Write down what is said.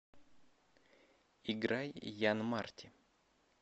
играй ян марти